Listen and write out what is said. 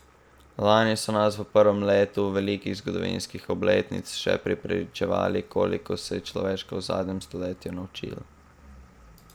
Lani so nas v prvem letu velikih zgodovinskih obletnic še prepričevali, koliko se je človeštvo v zadnjem stoletju naučilo!